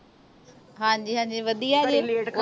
ਹਾਂਜੀ ਹਾਂਜੀ ਵਧੀਆ ਜੇ